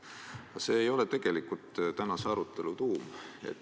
Aga see ei ole ju tegelikult tänase arutelu tuum.